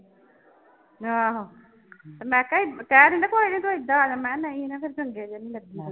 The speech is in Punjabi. ਆਹੋ ਤੇ ਮੈਂ ਕਿਹਾ ਕਹਿ ਦਿੰਦੇ ਕੋਈ ਨੀ ਤੂੰ ਏਦਾਂ ਆ ਜਾ, ਮੈਂ ਕਿਹਾ ਨਹੀਂ ਮੈਂ ਕਿਹਾ ਚੰਗੇ ਜਿਹੇ ਨੀ ਲੱਗੇ।